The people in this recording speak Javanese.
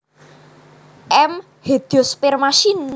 M hedyosperma syn